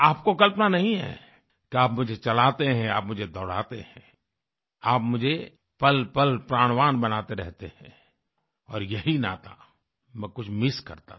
आपको कल्पना नहीं है कि आप मुझे चलाते हैं आप मुझे दौड़ाते हैं आप मुझे पलपल प्राणवान बनाते रहते हैं और यही नाता मैं कुछ मिस करता था